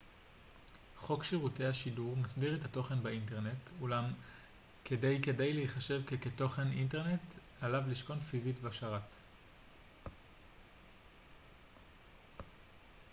חוק שירותי השידור מסדיר את התוכן באינטרנט אולם כדי כדי להיחשב ככתוכן אינטרנט עליו לשכון פיזית בשרת